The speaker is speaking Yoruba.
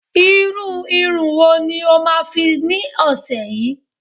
irú Irun wo ni o ma fi ni ọsẹ yìí